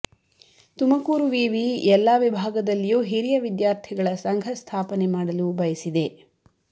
ತುಮಕೂರು ವಿವಿ ಎಲ್ಲಾ ವಿಭಾಗದಲ್ಲಿಯೂ ಹಿರಿಯ ವಿದ್ಯಾರ್ಥಿಗಳ ಸಂಘ ಸ್ಥಾಪನೆ ಮಾಡಲು ಬಯಸಿದೆ